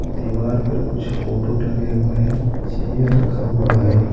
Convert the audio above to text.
दीवार पर कुछ फोटो टंगे हुए हैं चाहिए रखा हुआ है।